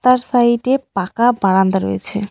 তার সাইডে পাকা বারান্দা রয়েছে।